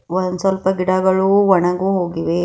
One ಸ್ವಲ್ಪ ಗಿಡಗಳು ಒಣಗು ಹೊಗಿವೆ.